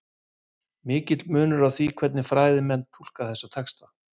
Mikill munur er á því hvernig fræðimenn túlka þessa texta.